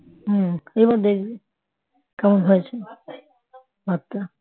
হম এবার দেখবি কেমন হয়েছে ভাতটা